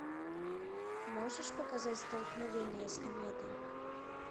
можешь показать столкновение с кометой